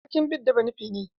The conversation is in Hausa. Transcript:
Sarkin bida banufe ne.